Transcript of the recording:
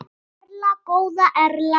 Erla góða Erla.